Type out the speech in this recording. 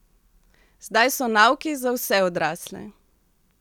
Zdaj so nauki za vse odrasle.